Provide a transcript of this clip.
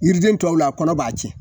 Yiriden tɔw la kɔnɔ b'a cɛn